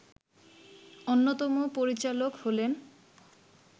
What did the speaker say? অন্যতম পরিচালক হলেন